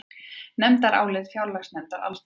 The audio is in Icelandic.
Nefndarálit fjárlaganefndar Alþingis